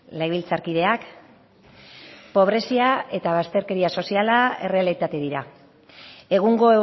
legebiltzarkideak pobrezia eta bazterkeria soziala errealitate dira egungo